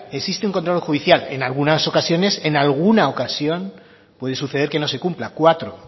existe un control judicial en algunas ocasiones en alguna ocasión puede suceder que no se cumpla cuatro